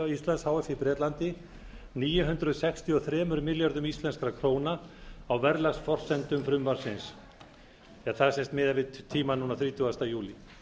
h f í bretlandi níu hundruð sextíu og þremur milljörðum íslenskra króna á verðlagsforsendum frumvarpsins það er sem sagt miðað við tímann núna þrítugasta júlí